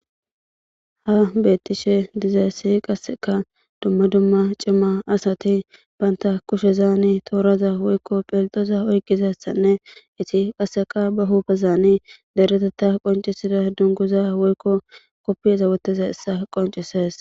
Ha beettishe diza issi qasseka dumma dumma cima asati baynta kushezaani tooraza woykko philxoza oykizassanne iti qasseka ba hupezani deretetta qoncisida dunguza woykko koppieza woteza issa qoncises.